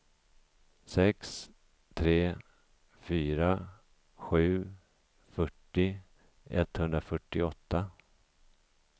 sex tre fyra sju fyrtio etthundrafyrtioåtta